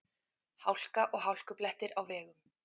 Hálka og hálkublettir á vegum